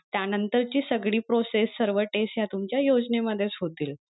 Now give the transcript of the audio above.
त्या नंतर ची सगळी process सर्व test या तुमच्या योजनेमध्येच होतील.